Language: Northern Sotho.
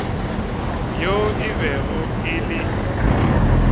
yo e bego e le